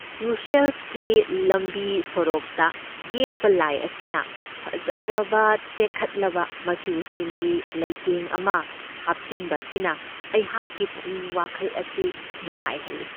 ꯕ꯭ꯔꯨꯁꯦꯜꯁꯀꯤ ꯂꯝꯕꯤ ꯁꯣꯔꯣꯛꯇ ꯌꯦꯛꯄ ꯂꯥꯏ ꯑꯁꯤꯅ ꯐꯖꯔꯕ ꯇꯦꯛꯈꯠꯂꯕ ꯃꯆꯨꯁꯤꯡꯒꯤ ꯂꯩꯇꯦꯡ ꯑꯃ ꯍꯥꯞꯁꯤꯟꯕ ꯑꯁꯤꯅ ꯑꯩꯍꯥꯛꯀꯤ ꯄꯨꯛꯅꯤꯡ ꯋꯥꯈꯜ ꯑꯁꯤ ꯅꯨꯡꯉꯥꯏꯍꯜꯂꯤ ꯫